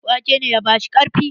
Wake ne ya bashi ƙarfi.